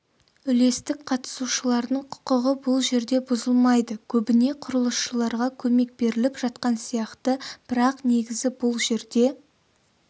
үлестік қатысушылардың құқығы бұл жерде бұзылмайды көбіне құрылысшыларға көмек беріліп жатқан сияқты бірақ негізі бұл жерде